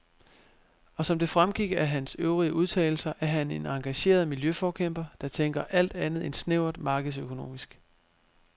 Og som det fremgik af hans øvrige udtalelser er han en engageret miljøforkæmper, der tænker alt andet end snævert markedsøkonomisk.